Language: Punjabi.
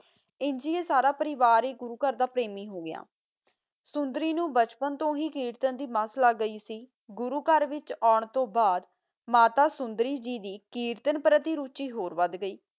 ਅਨਜ ਹੀ ਸਾਰਾ ਪਰਿਵਾਰ ਗੂਗੋ ਦਾ ਪਰਮਿ ਹੋ ਗਯਾ ਤਾ ਓਨੋ ਬਚਪਨ ਤੋ ਹੀ ਗੂਗੋ ਬਤਾ ਗੀ ਦਾ ਕੋਲੋ ਆਂ ਤੋ ਬਾਦ ਮਾਤਾ ਸੋੰਦਾਰੀ ਗੀ ਦੀ ਸੋਨਾਟਾ ਹੋਰ ਵਾਦ ਗੀ